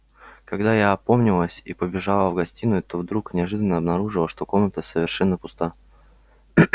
когда я опомнилась и побежала в гостиную то вдруг неожиданно обнаружила что комната совершенно пуста